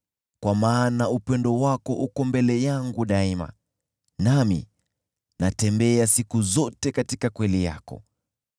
kwa maana upendo wako uko mbele yangu daima, nami natembea siku zote katika kweli yako.